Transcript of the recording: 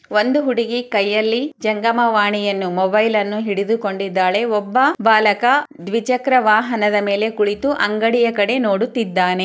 ಒಂದು ಹುಡುಗಿ ಕೈಯಲ್ಲಿ ಜಗ್ಗಮವಾಣಿಯನ್ನು ಮೊಬೈಲ ಅನ್ನು ಹಿಡಿದು ಕೊಂಡಿದ್ದಾಳೆ ಒಬ್ಬ ಬಾಲಕ ದ್ವಿಚಕ್ರ ವಾಹನದ ಮೇಲೆ ಕುಳಿತು ಅಂಗಡಿಯ ಕಡೆ ನುಡುತಿದ್ದಾನೆ.